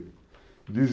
Ainda